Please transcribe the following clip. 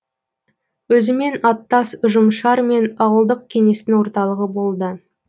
өзімен аттас ұжымшар мен ауылдық кеңестің орталығы болды